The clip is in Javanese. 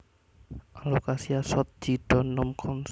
Alocasia Schott G Don nom cons